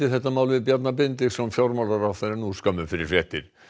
þetta mál við Bjarna Benediktsson fjármálaráðherra nú skömmu fyrir fréttir